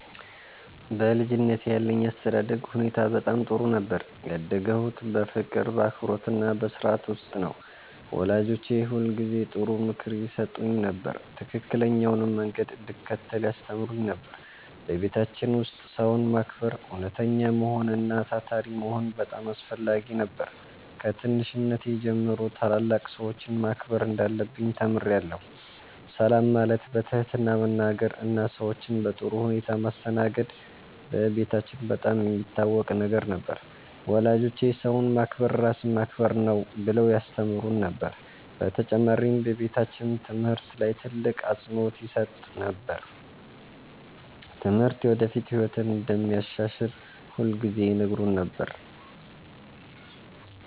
በልጅነቴ ያለኝ የአስተዳደግ ሁኔታ በጣም ጥሩ ነበር። ያደግሁት በፍቅር፣ በአክብሮትና በሥርዓት ውስጥ ነው። ወላጆቼ ሁልጊዜ ጥሩ ምክር ይሰጡኝ ነበር፣ ትክክለኛውንም መንገድ እንድከተል ያስተምሩኝ ነበር። በቤታችን ውስጥ ሰውን ማክበር፣ እውነተኛ መሆን እና ታታሪ መሆን በጣም አስፈላጊ ነበር። ከትንሽነቴ ጀምሮ ታላላቅ ሰዎችን ማክበር እንዳለብኝ ተምሬአለሁ። ሰላም ማለት፣ በትህትና መናገር እና ሰዎችን በጥሩ ሁኔታ ማስተናገድ በቤታችን በጣም የሚታወቅ ነገር ነበር። ወላጆቼ “ሰውን ማክበር ራስን ማክበር ነው” ብለው ያስተምሩን ነበር። በተጨማሪም በቤታችን ትምህርት ላይ ትልቅ አፅንዖት ይሰጥ ነበር። ትምህርት የወደፊት ህይወትን እንደሚያሻሽል ሁልጊዜ ይነግሩን ነበር።